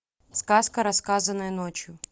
сказка рассказанная ночью